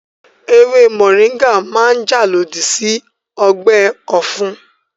Ewé mọ̀ríńgà máa jà lòdì sí ọgbẹ́ ọ̀fun